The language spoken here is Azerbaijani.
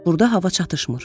Burda hava çatışmır.